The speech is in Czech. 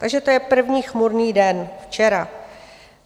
Takže to je první chmurný den - včera.